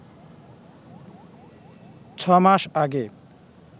ছ মাস আগে